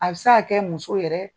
A bi se ka kɛ muso yɛrɛ